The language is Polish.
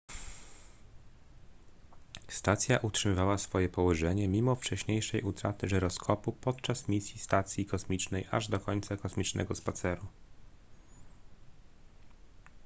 stacja utrzymała swoje położenie mimo wcześniejszej utraty żyroskopu podczas misji stacji kosmicznej aż do końca kosmicznego spaceru